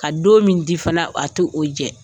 Ka don min di fana a tɛ o jɛ.